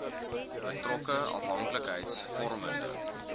betrokke afhanklikheids vormende